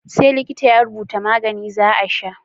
Sai likita ya rubutu za a sha magani